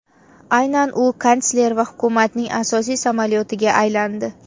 Aynan u kansler va hukumatning asosiy samolyotiga aylandi.